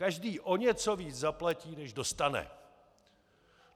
Každý o něco víc zaplatí než dostane.